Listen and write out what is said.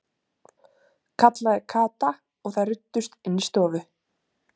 kallaði Kata og þær ruddust inn í stofu.